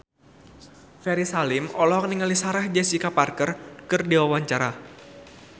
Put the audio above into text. Ferry Salim olohok ningali Sarah Jessica Parker keur diwawancara